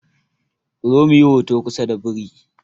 Ku zo muyi hoto kusa da biri!